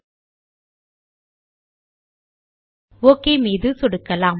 மற்றும் ஒக் மீது சொடுக்கலாம்